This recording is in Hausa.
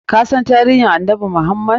Kasan tarihin annabi Muhammad?